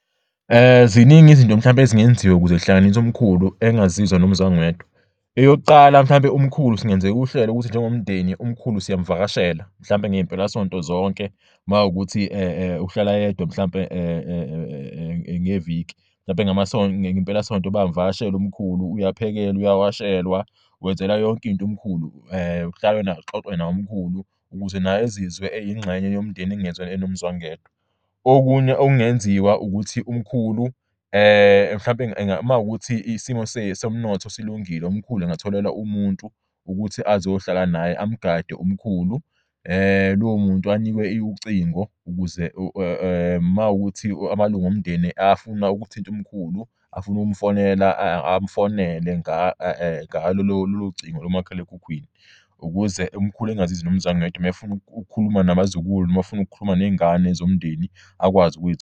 Ziningi izinto mhlawumbe ezingenziwa ukuze zihlanganis'umkhulu engazizwa nomzwangedwa. Eyokuqala mhlawumpe umkhulu singenzeka uhlelo ukuthi njengomndeni umkhulu siyamvakashela mhlampe ngey'mpelasonto zonke mawukuthi ukuhlala yedwa mhlampe ngeviki hlampe ngempelasonto bamvakashele umkhulu uyaphekela, uyawashelwa, wenzelwa yonk'int' umkhulu kuhlalwa naye kuxoxwe nay'mkhulu ukuze naye ezizwe eyingxenye yomndeni engezwa enomzwangedwa. Okunye okungenziwa ukuthi umkhulu hlampe makuwukuthi isimo somnotho silungile umkhulu engatholelwa umuntu ukuthi azohlala naye amgade umkhulu lowo muntu anikwe ucingo ukuze mawukuthi amalung'omndeni afuna ukuthint'umkhulu afun'ukumfonela amfonele ngalolo cingo lomakhalekhukhwini ukuze umkhulu engazizw'enomzwangedwa mayefuna ukukhuluma nabazukulu noma mayefun'ukukhuluma ney'ngane zomndeni akwazi .